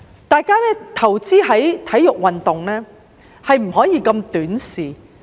大家投資在體育運動，不可以如此短視。